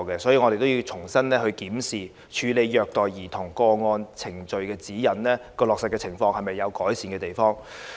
所以，我們要重新檢視《處理虐待兒童個案程序指引》的落實情況有否改善的地方。